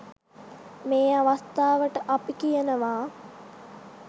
මේ අවස්ථාවට අපි කියනවා